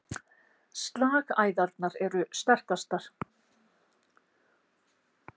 Slagæðarnar eru sterkastar.